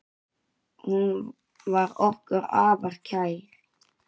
Hún var okkur afar kær.